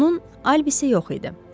Onun alibisi yox idi.